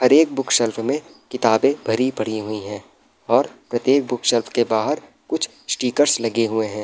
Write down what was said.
हर एक बुकशेल्फ़ में किताबे भरी पड़ी हुई है और प्रतेक बुकशेल्फ़ के बाहर कुछ स्टीकर लगे हुए हैं।